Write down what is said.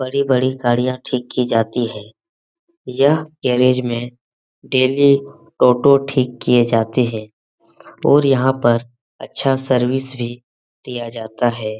बड़ी-बड़ी गाड़ियां ठीक की जाती है यह गैरेज में डेली टोटो ठीक किए जाते हैं और यहाँ पर अच्छा सर्विस भी दिया जाता है।